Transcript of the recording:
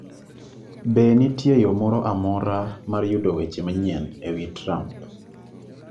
Be nitie yo moro amora mar yudo weche manyien e wi Trump?